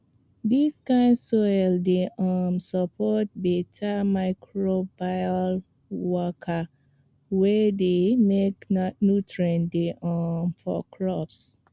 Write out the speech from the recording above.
dis kind soil dey um support beta microbial waka wey dey make nutrients dey um for crops